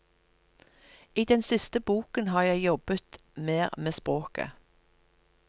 I den siste boken har jeg jobbet mer med språket.